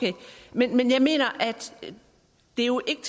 men jeg mener at det jo ikke